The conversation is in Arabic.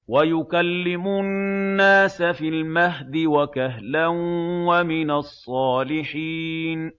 وَيُكَلِّمُ النَّاسَ فِي الْمَهْدِ وَكَهْلًا وَمِنَ الصَّالِحِينَ